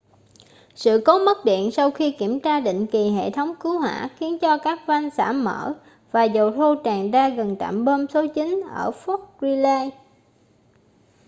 sự cố mất điện sau khi kiểm tra định kỳ hệ thống cứu hỏa khiến cho các van xả mở và dầu thô tràn ra gần trạm bơm số 9 ở fort greely